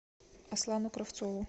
аслану кравцову